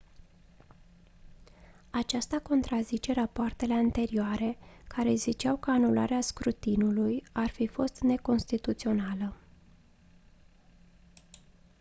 aceasta contrazice rapoartele anterioare care ziceau că anularea scrutinului ar fi fost neconstituțională